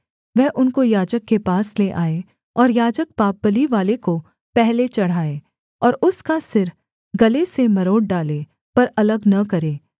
वह उनको याजक के पास ले आए और याजक पापबलि वाले को पहले चढ़ाए और उसका सिर गले से मरोड़ डालें पर अलग न करे